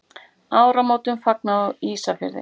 Áramótum fagnað á Ísafirði.